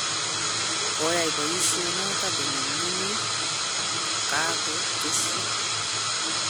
koyai boishonotok konyumnyumit,"kakotesyi.